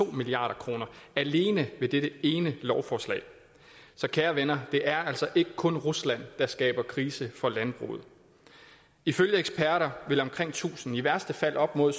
milliard kroner alene ved dette ene lovforslag så kære venner det er altså ikke kun rusland der skaber krise for landbruget ifølge eksperter vil omkring tusind og i værste fald op mod